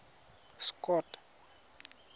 scott